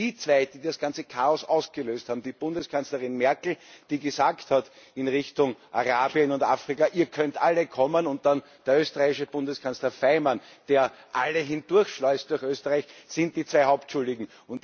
Die zwei, die das ganze Chaos ausgelöst haben, die Bundeskanzlerin Merkel, die gesagt hat, in Richtung Arabien und Afrika, ihr könnt alle kommen, und dann der österreichische Bundeskanzler Faymann, der alle hindurchschleust durch Österreich, sind die Hauptschuldigen.